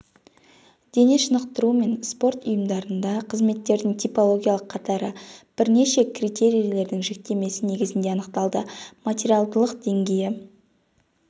дене шынықтыру мен спорт ұйымдарында қызметтердің типологиялық қатары бірнеше критерийлердің жіктемесі негізінде анықталды материалдылық деңгейі